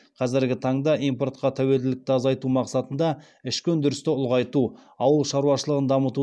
қазіргі таңда импортқа тәуелділікті азайту мақсатында ішкі өндірісті ұлғайту ауыл шаруашылығын дамыту